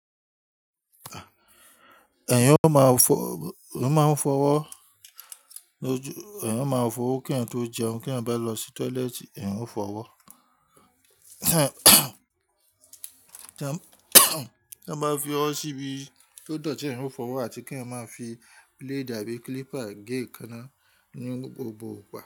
Eeyan máa ń fọwọ́ kí ẹ̀eyan tó jẹun, kí wọ́n bá lọ sí tọ́lẹ́ẹ́tì, ẹ̀eyan ó fọwọ́. Tí wọ́n bá fi ọ́ síbi tó dọ̀tí, ẹ̀eyan ó fọwọ́ àti kí ẹ̀eyan máa fi blade àbí clipper gé ekaná ní gbogbo igba.